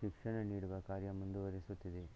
ಶಿಕ್ಷಣನೀಡುವ ಕಾರ್ಯ ಮುಂದುವರೆಸುತ್ತಿವೆ